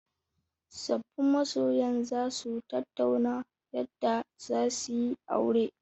Sabbin masoyan za su tattauna yadda za su yi aure.